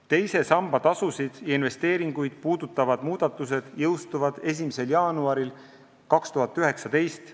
Teise samba tasusid ja investeeringuid puudutavad muudatused jõustuvad 1. jaanuaril 2019.